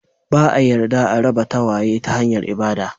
Ba a yarda a raba tagwaye ta hanyar ibada ba